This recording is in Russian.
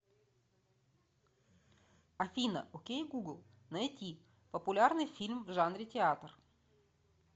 афина окей гугл найти популярный фильм в жанре театр